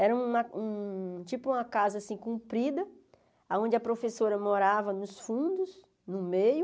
Era tipo uma um tipo uma casa assim comprida, aonde a professora morava nos fundos, no meio.